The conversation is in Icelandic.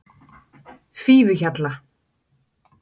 Fífuhjalla